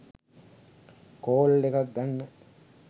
call එකක් ගන්න